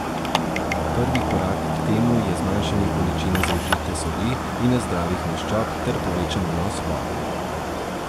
Prvi korak k temu je zmanjšanje količine zaužite soli in nezdravih maščob ter povečan vnos vode.